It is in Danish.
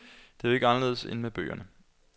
Det er jo ikke anderledes end med bøgerne.